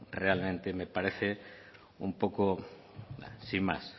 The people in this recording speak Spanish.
realmente me parece un poco sin más